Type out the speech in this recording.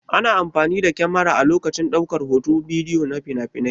Ana amfani da kyamara a lokacin ɗaukar hoton bidiyo na finafinai.